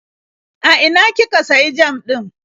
A ina kika sayi jam ɗin?